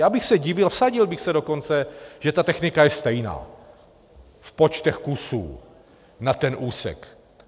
Já bych se divil, vsadil bych se dokonce, že ta technika je stejná v počtech kusů na ten úsek.